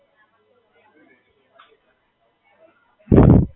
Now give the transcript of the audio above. તમે ક્યારે જોઇન કર્યું?